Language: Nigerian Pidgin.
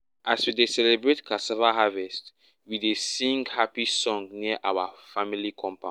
as we dey celebrate cassava harvest we dey sing happy song near our family compound.